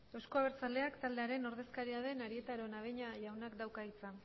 euzko abertzaleak taldearen ordezkaria den arieta araunabeña jaunak dauka hitza